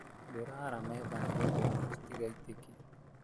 Ndĩra ara metha nĩgetha irio citigaitĩke